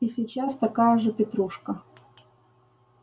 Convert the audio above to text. и сейчас такая же петрушка